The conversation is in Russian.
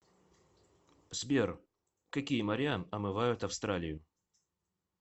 сбер какие моря омывают австралию